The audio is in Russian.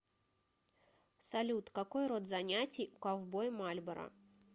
салют какой род занятий у ковбой мальборо